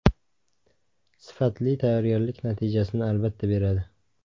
Sifatli tayyorgarlik natijasini, albatta, beradi.